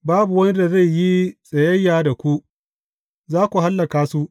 Babu wani da zai yi tsayayya da ku, za ku hallaka su.